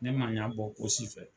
Ne man ɲɛbɔ o si fɛ.